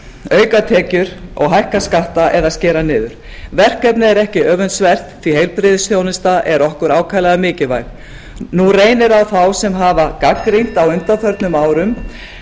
auka tekjur og hækka skatta eða skera niður verkefnið er ekki öfundsvert því heilbrigðisþjónusta er okkur ákaflega mikilvæg nú reynir á þá sem hafa gagnrýnt á undanförnum árum